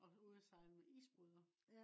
og ude og sejle med isbåder